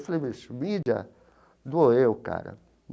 Eu falei, mas mídia dou eu, cara.